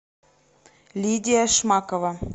лидия шмакова